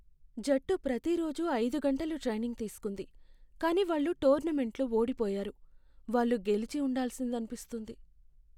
జట్టు ప్రతి రోజూ ఐదు గంటలు ట్రైనింగ్ తీసుకుంది, కానీ వాళ్ళు టోర్నమెంట్లో ఓడిపోయారు. వాళ్ళు గెలిచి ఉండాల్సిందనిపిస్తుంది.